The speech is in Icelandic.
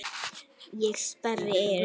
Ég sperri eyrun.